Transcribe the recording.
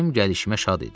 Mənim gəlişimə şad idi.